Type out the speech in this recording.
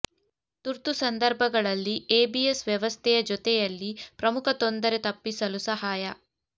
ತುರ್ತು ಸಂದರ್ಭಗಳಲ್ಲಿ ಎಬಿಎಸ್ ವ್ಯವಸ್ಥೆಯ ಜೊತೆಯಲ್ಲಿ ಪ್ರಮುಖ ತೊಂದರೆ ತಪ್ಪಿಸಲು ಸಹಾಯ